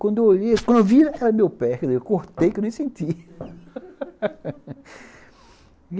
Quando eu olhei, quando eu vi, era meu pé, eu cortei que eu nem senti